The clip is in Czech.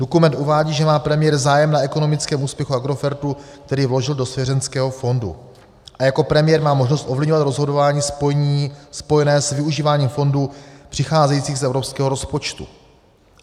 Dokument uvádí, že má premiér zájem na ekonomickém úspěchu Agrofertu, který vložil do svěřenského fondu, a jako premiér má možnost ovlivňovat rozhodování spojené s využíváním fondů přicházejících z evropského rozpočtu.